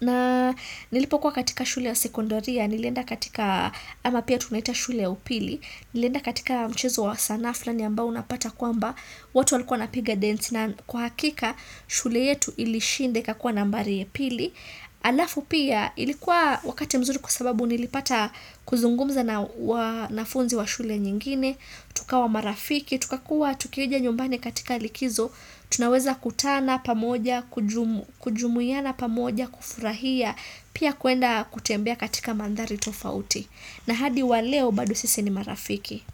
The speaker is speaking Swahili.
Na nilipokuwa katika shule ya sekondaria, nilienda katika, ama pia tunaita shule ya upili, nilienda katika mchezo wa sana, fulani ambao unapata kwamba, watu walikuwa wanapiga densi na kwa hakika shule yetu ilishinda ikakuwa nambari ya pili. Alafu pia ilikuwa wakati mzuri kwa sababu nilipata kuzungumza na wanafunzi wa shule nyingine tukawa marafiki, tukakuwa tukija nyumbani katika likizo Tunaweza kutana pamoja, kujumuiana pamoja, kufurahia Pia kuenda kutembea katika mandhari tofauti na hadi wa leo bado sisi ni marafiki.